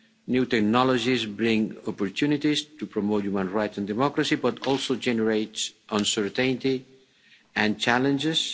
New technologies bring opportunities to promote human rights and democracy but also generate uncertainty and challenges.